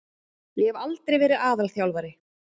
Ég hef aldrei verið aðalþjálfari.